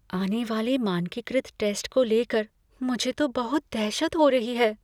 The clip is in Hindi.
आने वाले मानकीकृत टैस्ट को लेकर मुझे तो बहुत दहशत हो रही है।